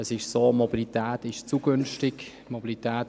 Es ist so, dass Mobilität zu günstig ist.